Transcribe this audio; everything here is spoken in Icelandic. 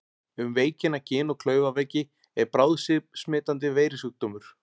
Um veikina Gin- og klaufaveiki er bráðsmitandi veirusjúkdómur.